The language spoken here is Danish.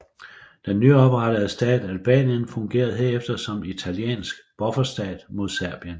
Den nyoprettede stat Albanien fungerede herefter som italiensk bufferstat mod Serbien